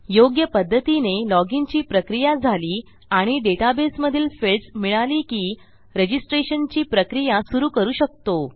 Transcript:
योग्य पध्दतीने लॉजिन ची प्रक्रिया झाली आणि डेटाबेसमधील फील्ड्स मिळाली की रजिस्ट्रेशनची प्रक्रिया सुरू करू शकतो